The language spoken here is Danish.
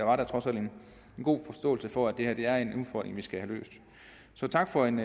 var da trods alt en god forståelse for at det her er en udfordring vi skal have løst så tak for en